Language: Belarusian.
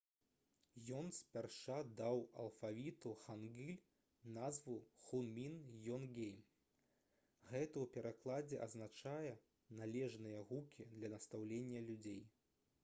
ён спярша даў алфавіту хангыль назву «хунмін йонгейм». гэта ў перакладзе азначае «належныя гукі для настаўлення людзей»